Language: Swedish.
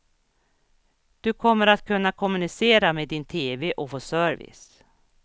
Du kommer att kunna kommunicera med din tv och få service.